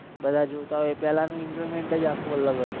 બધા જોતા હોય પહેલા નુ enjoyment જ આખુ અલગ હતુ.